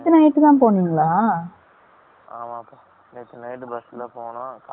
நேத்து night தான் போனோம். காலைல bus ல போய் இரங்கினேன்